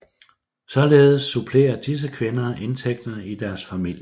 Således supplerer disse kvinder indtægterne i deres familie